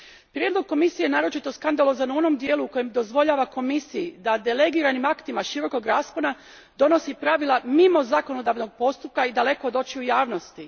Prijedlog Komisije je naročito skandalozan u onom dijelu u kojem dozvoljava Komisiji da delegiranim aktima širokog raspona donosi pravila mimo zakonodavnog postupka i daleko od očiju javnosti.